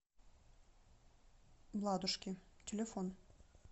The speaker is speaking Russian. ладушки телефон